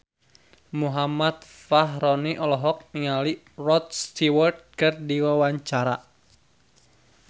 Muhammad Fachroni olohok ningali Rod Stewart keur diwawancara